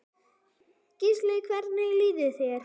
Gísli: Hvernig líkaði þér?